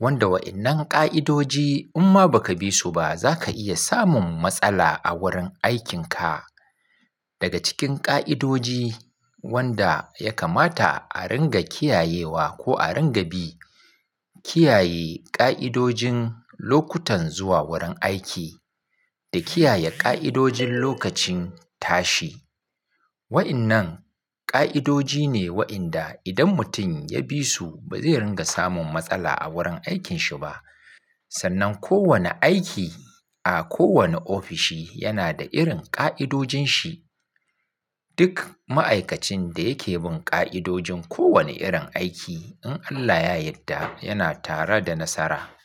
wanda waɗannan ƙa'idoji inma ba ka bi su ba za ka iya samun matsala a wurin aikinka. Daga cikin ƙa'idoji wanda ya kamata a ringa kiyayewa ko a ringa bi, kiyaye ƙa'idojin lokutan zuwa wurin aiki da kiyaye ƙa'idojin lokacin tashi. Waɗannan ƙa'idoji ne waɗanda idan mutum ya bi su ba zai ringa samun matsala a wurin aikinshi ba. Sannan kowane aiki a kowane ofishi yana da irin ƙa'idojin shi. Duk ma'aikacin da yake bin ƙa'idojin kowane irin aiki in Allah ya yadda yana tare da nasara.